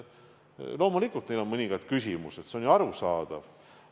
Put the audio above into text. Loomulikult on neil mõningaid küsimusi, see on ju arusaadav.